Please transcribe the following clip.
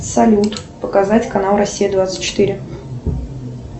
салют показать канал россия двадцать четыре